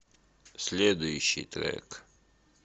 следующий трек